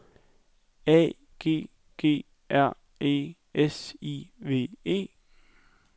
A G G R E S I V E